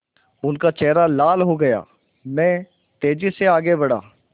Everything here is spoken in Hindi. उनका चेहरा लाल हो गया मैं तेज़ी से आगे बढ़ा